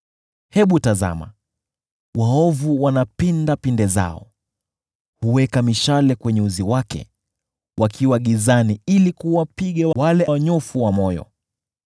Hebu tazama, waovu wanapinda pinde zao, huweka mishale kwenye uzi wake, wakiwa gizani ili kuwapiga wale wanyofu wa moyo.